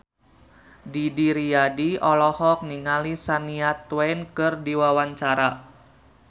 Didi Riyadi olohok ningali Shania Twain keur diwawancara